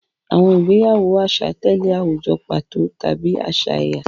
Àwọn ìgbéyàwó àṣà tẹ̀lé àwùjọ pàtó tàbí àṣà ẹ̀yà.